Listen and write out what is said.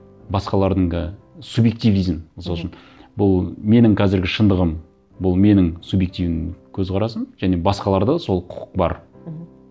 басқалардың субъективизм мхм мысал үшін бұл менің қазіргі шындығым бұл менің субъективный көзқарасым және басқаларда сол құқық бар мхм